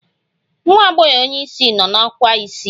Nwa agbogho onye isi no na ọkwa isii